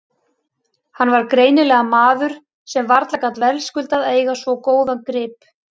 Hann var greinilega maður sem varla gat verðskuldað að eiga svo góðan grip.